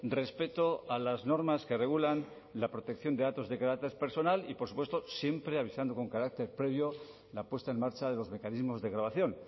respeto a las normas que regulan la protección de datos de carácter personal y por supuesto siempre avisando con carácter previo la puesta en marcha de los mecanismos de grabación